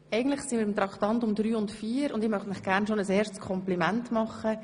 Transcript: – Wir stehen bei Traktandum 3 und 4, und ich möchte Ihnen gerne bereits ein erstes Kompliment machen: